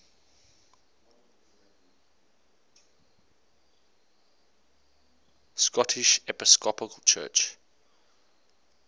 scottish episcopal church